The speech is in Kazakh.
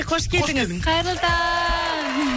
қош келдіңіз қайырлы таң